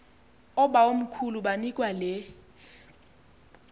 oobawomkhulu banikwa le